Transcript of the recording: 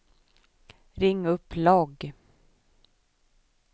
ring upp logg